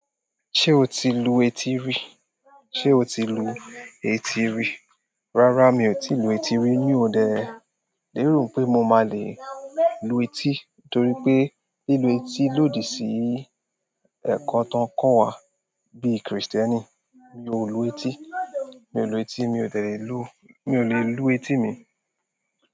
Ṣé o ti lu etí rí? Ṣe o ti lu etí rí? Rárá mi ò tíì lu etí rí mí ò de. Le rò pé mo máa le lu etí torí pé lílu etí lòdì sí ẹ̀kọ́ tí wọ́n kọ́ wa bí Kristẹni. Mi ò lu etí, mi ò lu etí, mi ò delẹ̀ lu, mi ò lè lu etí mi.